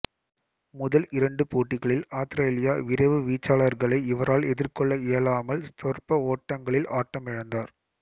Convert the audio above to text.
முதல் இரண்டு போட்டிகளில் ஆத்திரேலிய விரைவு வீச்சாளர்களை இவரால் எதிர்கொள்ள இயலாமல் சொற்ப ஓட்டங்களில் ஆட்டமிழந்தார்